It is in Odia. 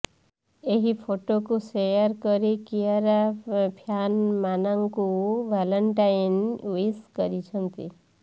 ଏହି ଫଟୋକୁ ସେୟାର କରି କିଆରା ଫ୍ୟାନମାନଙ୍କୁ ଭାଲେଣ୍ଟାଇନ୍ ଓ୍ବିଶ କରିଛନ୍ତି